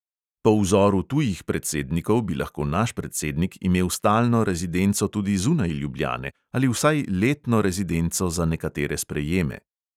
Po vzoru tujih predsednikov bi lahko naš predsednik imel stalno rezidenco tudi zunaj ljubljane ali vsaj letno rezidenco za nekatere sprejeme.